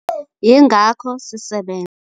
Yingakho sisebenza.